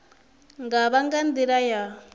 nga vha nga nḓila ya